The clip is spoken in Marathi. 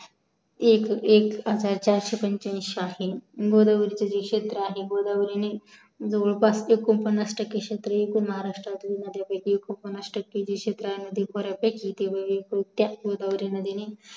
एक हजार चारशे पंचाएंशी आहे गोदावरीचे जे क्षेत्र आहे गोदावरीने जवळपास एक्कोंपन्नास टक्के एकूण महाराष्ट्रतील नद्यांपाइकी पन्नास टक्के क्षेत्रा मध्ये बर्‍यापैकी गोदावरी नदीने